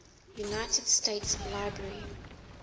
united states library